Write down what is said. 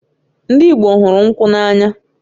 Ndị Igbo hụrụ nkwụ n'anya